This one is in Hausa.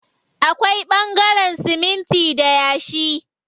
Akwai ɓangaren siminti da yashi.